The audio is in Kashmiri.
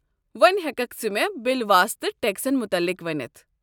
وۄنہِ ہٮ۪ککھٕ ژٕ مےٚ بِلواسطہٕ ٹٮ۪کسن متعلق ؤنتھ؟